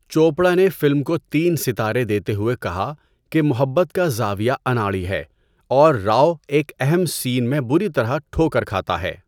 چوپڑا نے فلم کو تین ستارے دیتے ہوئے کہا کہ محبت کا زاویہ اناڑی ہے اور راؤ ایک اہم سین میں بُری طرح ٹھوکر کھاتا ہے۔